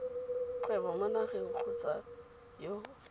kgwebo mo nageng kgotsa yo